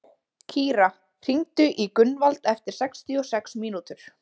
Kíra, hringdu í Gunnvald eftir sextíu og sex mínútur.